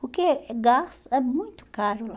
Porque é gasto é muito caro lá.